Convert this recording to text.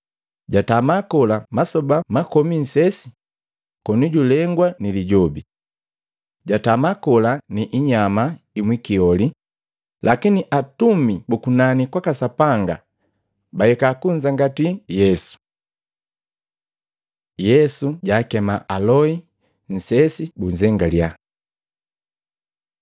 Jatama kola masoba makomi nsesi koni julengwa ni Lijobi. Jatama kola ni inyama imwikioli lakini atumisi bu kunani kwaka Sapanga bahika kunzangatii Yesu. Yesu jaakema aloi nsesi bunzengalya Matei 4:12-22; Luka 4:14-15; 5:1-11